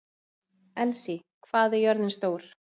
Elsí, hvað er jörðin stór?